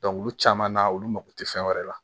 olu caman na olu mako tɛ fɛn wɛrɛ la